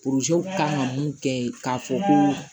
kan ka mun kɛ k'a fɔ ko